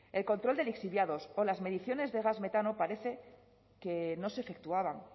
el control de lixiviados o las mediciones de gas metano parece que no se efectuaban